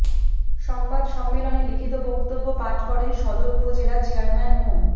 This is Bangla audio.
সংবাদ সম্মেলনে লিখিত বক্তব্য পাঠ করেন সদর উপজেলা চেয়ারম্যান মো